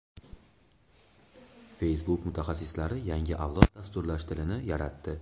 Facebook mutaxassislari yangi avlod dasturlash tilini yaratdi.